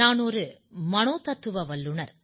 நான் ஒரு மனோதத்துவ வல்லுநர்